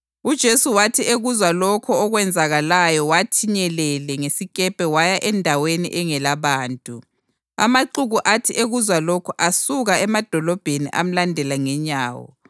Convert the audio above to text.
UJesu wathi ekuzwa lokho okwenzakalayo wathi nyelele ngesikepe waya endaweni engelabantu. Amaxuku athi ekuzwa lokhu asuka emadolobheni amlandela ngenyawo.